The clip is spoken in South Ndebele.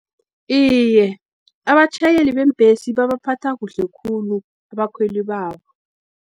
Iye, abatjhayeli bembhesi, babaphatha kuhle khulu, abakhweli babo.